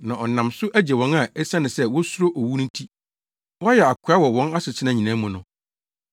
Na ɔnam so agye wɔn a esiane sɛ wosuro owu nti, wɔayɛ akoa wɔ wɔn asetena nyinaa mu no.